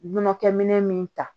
Nɔnɔkɛminɛ min ta